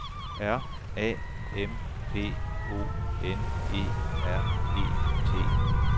R A M P O N E R E T